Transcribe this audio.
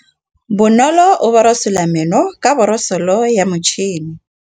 Bonolô o borosola meno ka borosolo ya motšhine.